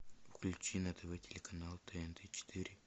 включи на тв телеканал тнт четыре